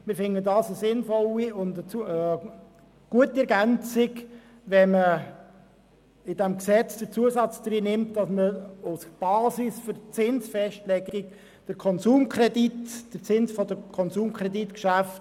Wir finden, der Zusatz sei eine sinnvolle und gute Ergänzung, das heisst, man nimmt den Zins im Konsumkreditgeschäft als Limite für die Festlegung des Zinssatzes im Pfandleihgeschäft.